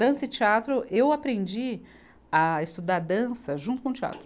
Dança e teatro, eu aprendi a estudar dança junto com o teatro.